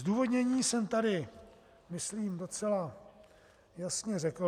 Zdůvodnění jsem tady myslím docela jasně řekl.